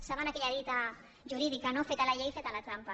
saben aquella dita jurídica no feta la llei feta la trampa